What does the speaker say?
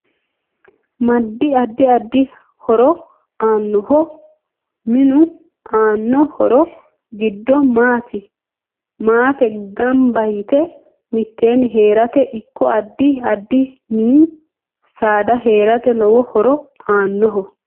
Madd addi addi horo aanoho minu aano horo giddo maate ganba yite miteeni heerate ikko addi addi mini saada heerate lowo horo aanoho